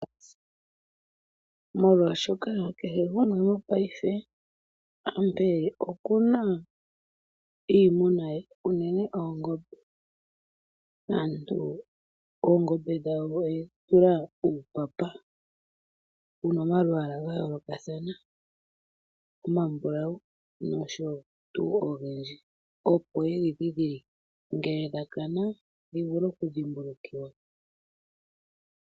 Molwaashoka kehe gumwe ngashingeyi konyala okuna iimuna ye unene oongombe. Aantu oongombe dhawo oyedhi tula uupapa wuna omalwaala gayoolokathana omambulawu nosho tuu ogendji ngele dha kana dhi vule okudhimbulukiwa.